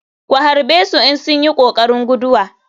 Ku harɓesu in sunyi kokarin guduwa.